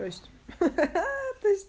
то есть то есть